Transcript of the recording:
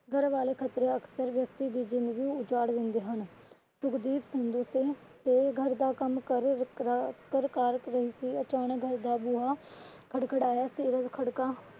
ਘਰ ਵਾਲੇ ਖ਼ਤਰੇ ਅਕਸਰ ਵਿਅਕਤੀ ਦੀ ਜਿੰਦਗੀ ਉਜਾੜ ਦਿੰਦੇ ਹਨ ਫਿਰ ਵੀ ਸੇ ਘਰ ਦਾ ਕੰਮਕਾਰ ਕਰਾ ਰਹੀ ਸੀ ਅਚਾਨਕ ਘਰ ਦਾ ਬੂਹਾ ਖੜਖੜਾਯਾ ਸੀਰਤ ਖੜਕਾ